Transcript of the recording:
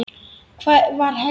Það var Helga!